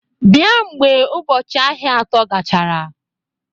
Bịa mgbe ụbọchị ahịa atọ gachara!